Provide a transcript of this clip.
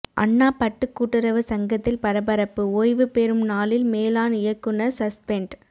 அண்ணா பட்டு கூட்டுறவு சங்கத்தில் பரபரப்பு ஓய்வுபெறும் நாளில் மேலாண் இயக்குநர் சஸ்பெண்ட்